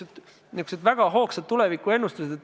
Olid niisugused väga hoogsad tulevikuennustused.